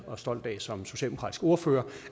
og stolt af som socialdemokratisk ordfører